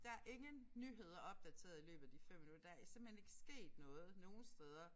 Der ingen nyheder opdateret i løbet af de 5 minutter der er simpelthen ikke sket noget nogen steder